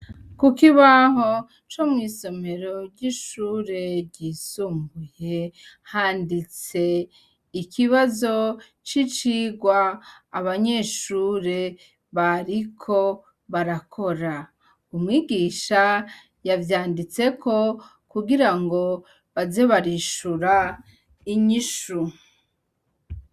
Kuko ibaho co mw'isomero ry'ishure ryisumbuye handitse ikibazo c'icirwa abanyeshure bariko barakora umwigisha yavyanditseko kugira ngo bazebarije ishura inyishu.